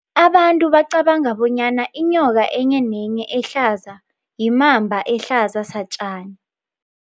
Abantu bacabanga bonyana inyoka enye nenye ehlaza yimamba ehlaza satjani.